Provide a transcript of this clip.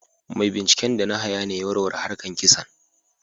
Mai binciken da na haya ne ya warware harkan kisan.